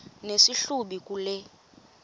nesi hlubi kule